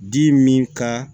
Di min ka